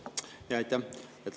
Aitäh!